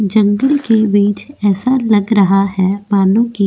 जंगल के बीच ऐसा लग रहा है बालों के? --